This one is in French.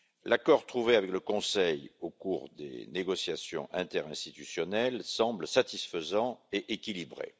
L'accord trouvé avec le Conseil au cours des négociations interinstitutionnelles semble satisfaisant et équilibré.